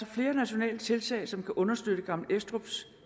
flere nationale tiltag som kan understøtte gammel estrups